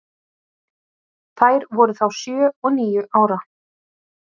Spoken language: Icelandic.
Þær voru þá sjö og níu ára.